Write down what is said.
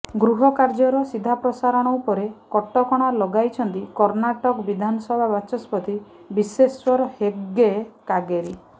ଗୃହକାର୍ଯ୍ୟର ସିଧାପ୍ରସାରଣ ଉପରେ କଟକଣା ଲଗାଇଛନ୍ତି କର୍ଣ୍ଣାଟକ ବିଧାନସଭା ବାଚସ୍ପତି ବିଶେଶ୍ୱର ହେଗ୍ଡେ କାଗେରି